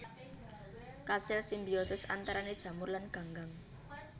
Kasil simbiosis antarané jamur lan ganggang